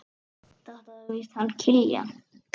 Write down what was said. Þetta er víst hann Kiljan.